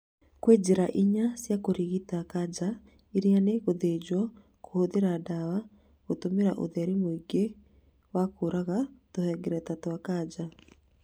Kwĩ njĩra ĩnya cĩa kũrigita kanja iria nĩ gũthĩnjwo, kũhũthĩra ndawa, gũtũmĩra ũtheri mũingĩ wa kũraga tũhengereta twa kanja